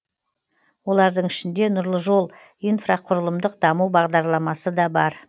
олардың ішінде нұрлы жол инфрақұрылымдық даму бағдарламасы да бар